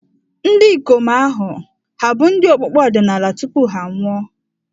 Ndị ikom ahụ hà bụ ndị okpukpe ọdịnala tupu ha anwụọ?